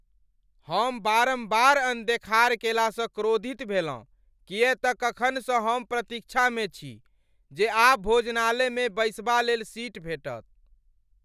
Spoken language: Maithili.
हम बारम्बार अनदेखार केला सँ क्रोधित भेलहुं किये त कखनसँ एहि प्रतीक्षामे छी जे आब भोजनालय मे बैसबालेल सीट भेटत।